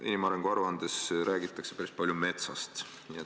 Inimarengu aruandes räägitakse päris palju metsast.